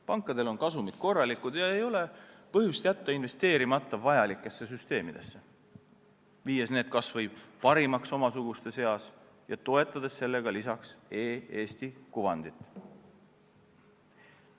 Pankadel on kasumid korralikud ja ei ole põhjust jätta investeerimata vajalikesse süsteemidesse, muutes need kas või parimaks omasuguste seas ja toetades sellega e-Eesti kuvandit.